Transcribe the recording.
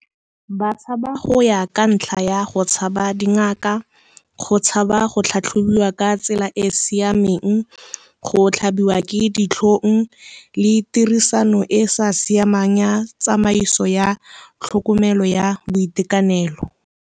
Ba tshaba go ya ka ntlha ya go tshaba dingaka, go tshaba go tlhatlhobiwa ka tsela e e siameng, go tlhabiwa ke ditlhong le tirisano e sa siamang ya tsamaiso ya tlhokomelo ya boitekanelo.